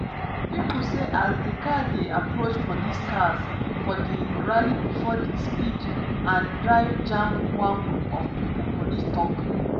pipo see as di car dey approach police cars for di rally bifor e speed and drive jam one group of pipo police tok.